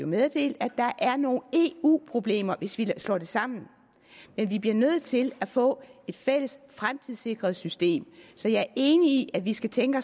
meddelt at der er nogle eu problemer hvis vi slår det sammen men vi bliver nødt til at få et fælles fremtidssikret system så jeg er enig i at vi skal tænke